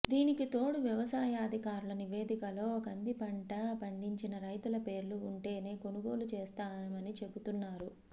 దీనికి తోడు వ్యవసాయాధికారుల నివేదికలో కంది పంట పండించిన రైతుల పేర్లు ఉంటేనే కొనుగోలు చేస్తామని చెబుతున్నారు